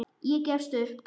Ég gefst upp.